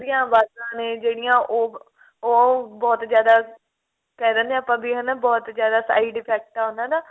ਦੀਆਂ ਅਵਾਜ਼ਾ ਨੇ ਜਿਹੜੀਆਂ ਉਹ ਉਹ ਬਹੁਤ ਜ਼ਿਆਦਾ ਕਹਿ ਦਿੰਦੇ ਆਂ ਆਪਾਂ ਵੀ ਹਨਾ ਬਹੁਤ ਜਿਆਦਾ side effect ਆਉਂਦਾ ਨਾ